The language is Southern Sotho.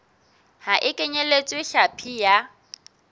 ha e kenyeletse hlapi ya